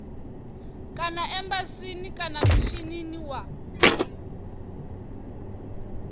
kana embasini kana mishinini wa